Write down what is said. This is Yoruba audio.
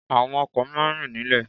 Àwọn ọkò máa ń rìn nílè